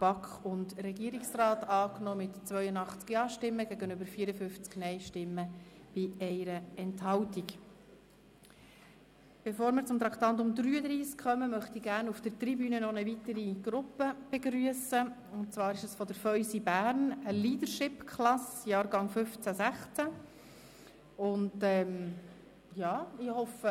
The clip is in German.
Bevor wir zum Traktandum 33 kommen, möchte ich auf der Tribüne gerne eine weitere Gruppe begrüssen, nämlich eine Leadership-Klasse Jahrgang 2015/16 des Feusi Bildungszentrums in Bern.